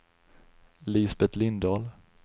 Lisbet Lindahl